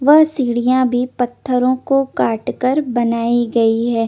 वह सीडिया भी पथरो को काट कर बनाई गयी हे ।